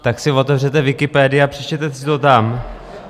Tak si otevřete Wikipedii a přečtěte si to tam.